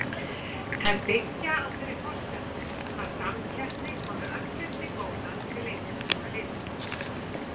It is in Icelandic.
Þær byggja á þeirri forsendu að samkeppni komi öllum til góða til lengri tíma litið.